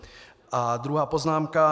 A druhá poznámka.